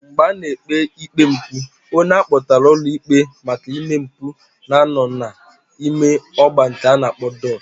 Mgbe a na-ekpe ikpe mpu, onye akpotara ulo ikpe maka ime mpu na-ano n'ime ogba nke a na-akpo dok.